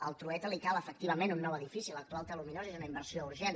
al trueta li cal efectivament un nou edifici l’actual té aluminosi és una inversió urgent